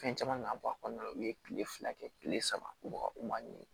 Fɛn caman kan ka bɔ a kɔnɔna na u ye kile fila kɛ kile saba u man ni